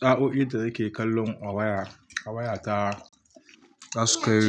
Sa'o'in da nake kallo a waya, a wayata zasu kai,